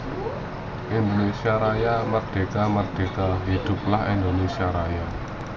Indonésia Raja Merdeka merdeka Hiduplah Indonésia Raja